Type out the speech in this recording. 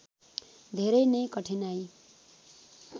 धेरै नै कठिनाई